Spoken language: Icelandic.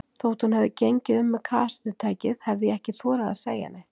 Þótt hún hefði gengið um með kassettutækið, hefði ég ekki þorað að segja neitt.